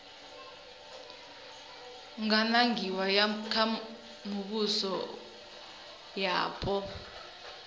nga nangiwa kha mivhuso yapo